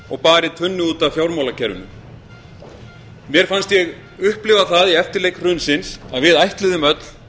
og barið tunnu út af fjármálakerfinu mér fannst ég upplifa það í eftirleik hrunsins að við ætluðum öll